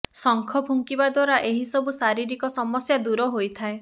ଶଙ୍ଖ ଫୁଙ୍କିବା ଦ୍ୱାରା ଏହି ସବୁ ଶାରୀରିକ ସମସ୍ୟା ଦୂର ହୋଇଥାଏ